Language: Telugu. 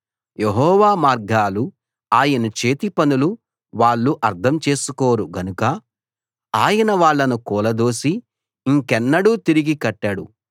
యెహోవా మార్గాలు ఆయన చేతిపనులు వాళ్ళు అర్థం చేసుకోరు గనక ఆయన వాళ్ళను కూలదోసి ఇంకెన్నడూ తిరిగి కట్టడు